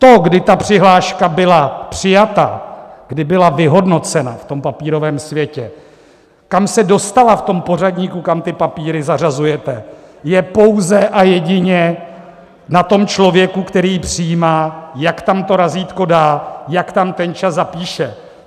To, kdy ta přihláška byla přijata, kdy byla vyhodnocena v tom papírovém světě, kam se dostala v tom pořadníku, kam ty papíry zařazujete, je pouze a jedině na tom člověku, který ji přijímá, jak tam to razítko dá, jak tam ten čas zapíše.